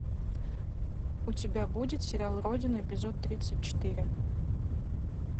у тебя будет сериал родина эпизод тридцать четыре